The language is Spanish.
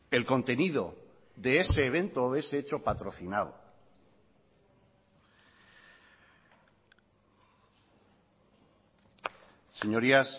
el contenido de ese evento o de ese hecho patrocinado señorías